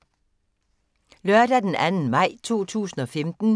Lørdag d. 2. maj 2015